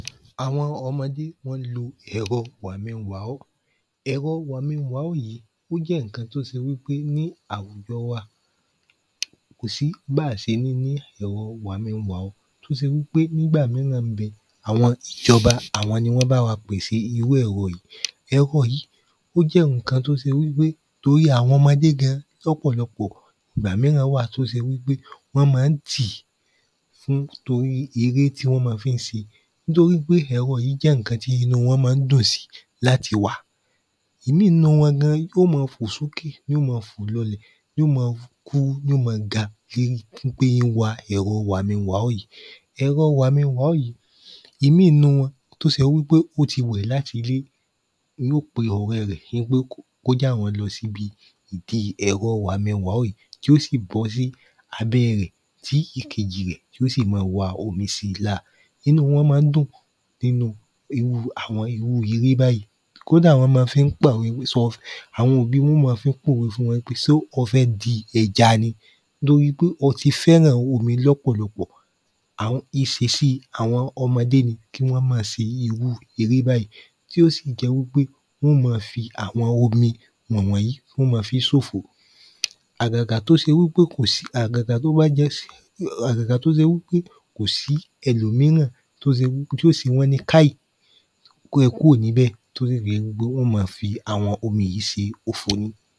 àwọn ọmọdé wọ́n n lo ẹ̀rọ wàminwàọ́ ẹ̀rọ wàminwàọ́ yí ó jẹ́ nnkan tó ṣẹ wípé ní àwùjọ wa kò sí bá ṣe ní ní ẹ̀rọ wàminwàọ́ tó ṣe wípé nígbà mí nà n bẹ àwọn ìjọba àwọn ni wọ́n báwa pèse irú ẹ̀rọ yí ẹ̀rọ yí ó jẹ́ nnkan tó ṣe wípé torí àwọn ọmọdé gan lọ́pọ̀lọpọ̀ ìgbà míràn wà tó ṣe wípé wọ́n má n tí n torí ẹrẹ́ tí wọ́n ma fi n ṣe nítorí pé ẹrọ yí jẹ́ nnkan tí inú wọn má n dùn sí láti wà ìmí nínú wọn gan yó ma fò sókè yó mọ fò lọlẹ̀ yó mọ kúrú ni ó mọ ga kiri fún pé ó n wa èrọ wàmínwàọ́ yí èrọ wàmínwàọ́ yí ìmí nínú wọn tó ṣe wípé ó ti wẹ̀ láti ilé yó pe ọrẹ́ rẹ̀ npé kó jẹ́ àwọn lọ síbi ìdí èrọ wàmínwàọ́ yí tí ó sì gọ sí abẹ́ rẹ̀ tí ìkẹjì rẹ̀ tí ó sì ma wa omi si lára inú wọ́n má n dùn ínu irú àwọn irú eré báyìí kódà wọ́n ma fi n pàwẹ sọ? àwọn òbí wọn ó mọ fi n pọ̀we fún wọn wípé ṣé o fẹ́ di ẹja ni nítorí pé o ti fẹ́ràn omi lọ́pọ̀lọpọ̀ àwọn ìṣesí àwọn ọmọdé ni kí wọ́n ma ṣe irú eré bàyí tí ó sì jẹ́ wípé wọ́n ó mọ fi àwọn omi wọ̀n wọ̀n yí wọ́n ma fi n ṣòfò àgàgà tó ṣe wípé kòsí àgàgà tó bá jẹ́?? àgàgà tó ṣe wípé kòsí ẹlòmíràn tó ṣe wí tí ó ṣe wọ́n ní káì kórẹ kúrò níbè torí ìbínú pé wọ́n ó mọ fi àwọn omi yí ṣe òfò ní